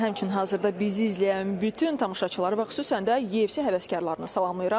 Həmçinin hazırda bizi izləyən bütün tamaşaçıları və xüsusən də YFC həvəskarlarını salamlayıram.